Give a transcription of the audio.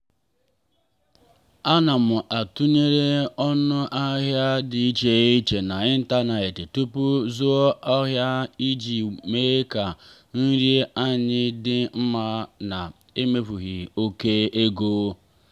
ana m atụnyere ọnụ ahịa di iche iche n'ịntanetị tupu zụọ ahịa iji mee ka nri anyị dị mma na-emefughị oke ego.